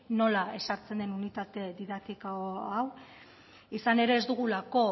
nola ezartzen den unitate didaktikoa hau izan ere ez dugulako